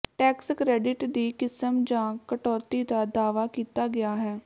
tax credit ਦੀ ਕਿਸਮ ਜਾਂ ਕਟੌਤੀ ਦਾ ਦਾਅਵਾ ਕੀਤਾ ਗਿਆ ਹੈ